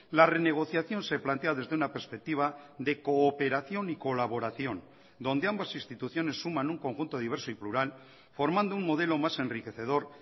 la renegociación se plantea desde una perspectiva de cooperación y colaboración donde ambas instituciones suman un conjunto diverso y plural formando un modelo más enriquecedor